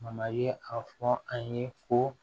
i ye a fɔ a ye ko